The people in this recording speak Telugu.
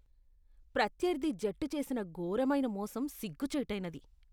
ప్రత్యర్థి జట్టు చేసిన ఘోరమైన మోసం సిగ్గుచేటైనది.